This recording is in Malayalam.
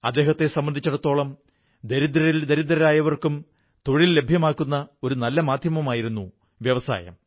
അദ്ദേഹത്തെ സംബന്ധിച്ചിടത്തോളം ദരിദ്രരിൽ ദരിദ്രരായവർക്കും തൊഴിൽ ലഭ്യമാക്കുന്ന ഒരു നല്ല മാധ്യമമായിരുന്നു വ്യവസായം